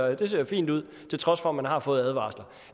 at det ser fint ud til trods for at man har fået advarsler